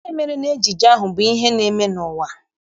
Ihe mere n'ejije ahụ bụ ihe na-eme n'ụwa.